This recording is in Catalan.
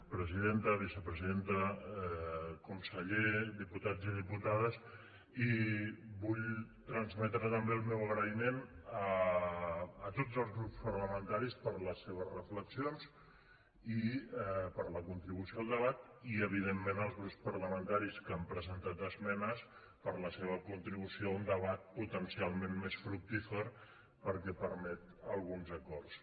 presidenta vicepresidenta conseller diputats i diputades i vull transmetre també el meu agraïment a tots els grups parlamentaris per les seves reflexions i per la contribució al debat i evidentment als grups parlamentaris que han presentat esmenes per la seva contribució a un debat potencialment més fructífer perquè permet alguns acords